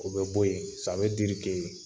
O be bɔ yen